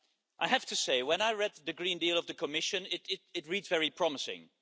I have to say, when I read the Green Deal of the Commission, it reads very promisingly.